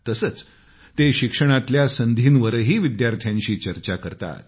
तसंच ते शिक्षणातल्या संधींवरही विद्यार्थ्यांशी चर्चा करतात